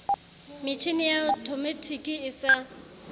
metjhini ya othomatiki e sa